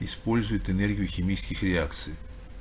использует энергию химических реакций